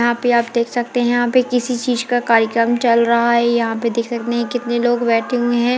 यहाँ पे आप देख सकते है किसी चीज का कार्यक्रम चल रहा है यहाँ पे देख सकते हैं कितने लोग बैठे हुए हैं।